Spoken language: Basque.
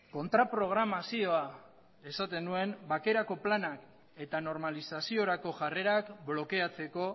kontraprogramazioa esaten nuen bakerako planak eta normalizaziorako jarrerak blokeatzeko